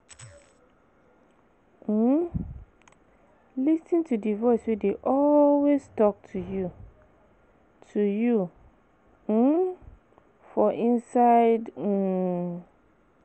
um Lis ten to di voice wey dey always talk to you to you um for inside um